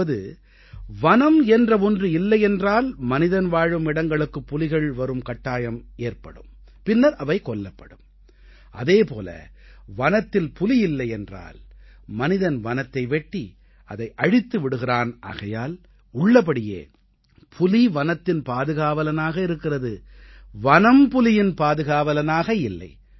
அதாவது வனம் என்ற ஒன்று இல்லையென்றால் மனிதன் வாழும் இடங்களுக்கு புலிகள் வரும் கட்டாயமேற்படும் பின்னர் அவை கொல்லப்படும் அதே போல வனத்தில் புலி இல்லை என்றால் மனிதன் வனத்தை வெட்டி அதை அழித்து விடுகிறான் ஆகையால் உள்ளபடியே புலி வனத்தின் பாதுகாவலனாக இருக்கிறது வனம் புலியின் பாதுகாவலனாக இல்லை